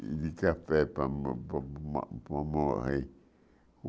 e de café para mo para.